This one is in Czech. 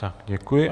Tak děkuji.